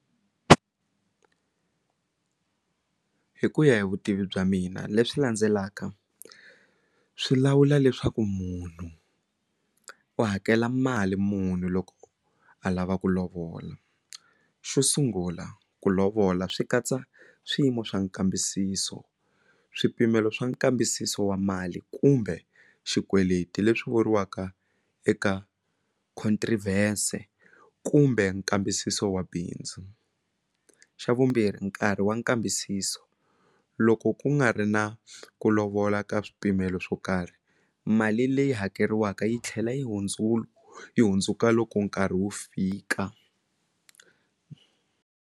Hi ku ya hi vutivi bya mina leswi landzelaka swi lawula leswaku munhu u hakela mali muni loko a lava ku lovola xo sungula ku lovola swi katsa swiyimo swa nkambisiso swipimelo swa nkambisiso wa mali kumbe xikweleti leswi vuriwaka eka contrivers-e kumbe nkambisiso wa bindzu xa vumbirhi nkarhi wa nkambisiso loko ku nga ri na ku lovola ka swipimelo swo karhi mali leyi hakeriwaka yi tlhela yi yi hundzuka loko nkarhi wu fika.